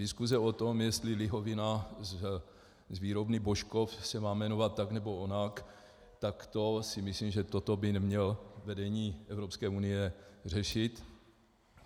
Diskuse o tom, jestli lihovina z výrobny Božkov se má jmenovat tak, nebo onak, tak to si myslím, že toto by nemělo vedení Evropské unie řešit.